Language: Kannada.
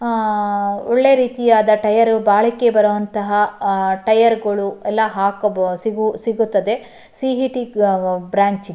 ಆಹ್ಹ್ ಒಳ್ಳೆ ರೀತಿಯಾದ ಟೈರ್ ಬಾಳಿಕೆ ಬರುವಂತಹ ಟೈರ್ಗಳು ಎಲ್ಲ ಸಿಗುತ್ತದೆ ಸಿ ಈ ಟಿ ಬ್ರಾಂಚ್ --